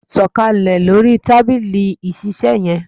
Sọ kalẹ̀ lórí tábìlì ìṣiiṣẹ́ yẹn!